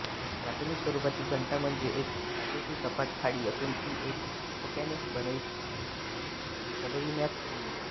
प्राथमिक स्वरूपाची घंटा म्हणजे एक धातूची सपाट थाळी असून ती एका ठोक्याने बडविण्यात येई